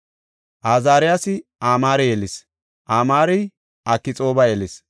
Azaariyasi Amaare yelis; Amaarey Akxooba yelis;